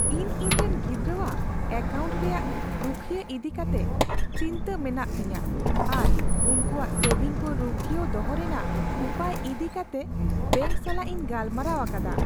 ᱤᱧ ᱤᱧᱨᱮᱱ ᱜᱤᱫᱽᱨᱟᱹᱣᱟᱜ ᱮᱠᱟᱣᱩᱱᱴ ᱨᱮᱭᱟᱜ ᱨᱩᱠᱷᱟᱹᱭᱤ ᱤᱫᱤ ᱠᱟᱛᱮ ᱪᱤᱱᱛᱟᱹ ᱢᱮᱱᱟᱜ ᱛᱤᱧᱟᱹ ᱟᱨ ᱩᱱᱠᱩᱣᱟᱜ ᱥᱮᱵᱷᱤᱝ ᱠᱚ ᱨᱩᱠᱷᱤᱭᱟᱹᱣ ᱫᱚᱦᱚ ᱨᱮᱱᱟᱜ ᱩᱯᱟᱹᱭ ᱤᱫᱤ ᱠᱟᱛᱮᱜ ᱵᱮᱝᱠ ᱥᱟᱞᱟᱜ ᱤᱧ ᱜᱟᱞᱢᱟᱨᱟᱣ ᱟᱠᱟᱫᱟ ᱾